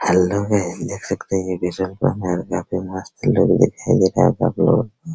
में देख सकते है डीज़ल काम है और काफी मस्त लुक दिखाई देता है --